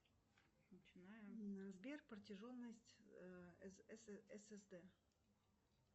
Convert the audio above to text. сбер протяженность ссд